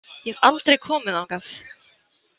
Ég hef aldrei komið þangað.